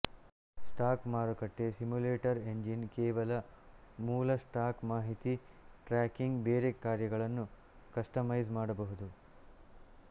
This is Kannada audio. ಸ್ಟಾಕ್ ಮಾರುಕಟ್ಟೆ ಸಿಮ್ಯುಲೇಟರ್ ಎಂಜಿನ್ ಕೇವಲ ಮೂಲ ಸ್ಟಾಕ್ ಮಾಹಿತಿ ಟ್ರ್ಯಾಕಿಂಗ್ ಬೇರೆ ಕಾರ್ಯಗಳನ್ನು ಕಸ್ಟಮೈಸ್ ಮಾಡಬಹುದು